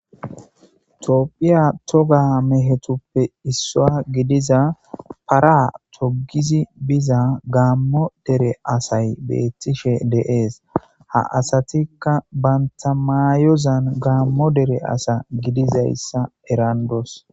toopphiya toga mehetuppe isswa gidiza para togizi biza gaammo dere asay beettishe dee'es ha asatikka bantamaayozan gaammo dere asa gidizayssa erandoos